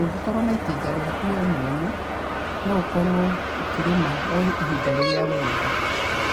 Ũngĩkorwo na itinga rĩaku we mwene, no ũkorwo ũkĩrĩma o ihinda rĩrĩa wenda.